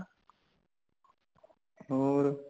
ਹੋਰ